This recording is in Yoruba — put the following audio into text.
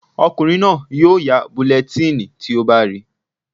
Ọkùnrin náà yóò ya bulẹtíìnì tí ó bá rí